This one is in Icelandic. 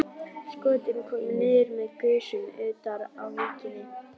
Skotin komu niður með gusum utar á víkinni.